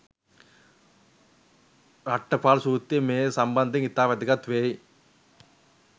රට්ඨපාල සුත්‍රය මේ සම්බන්ධයෙන් ඉතා වැදගත් වෙයි.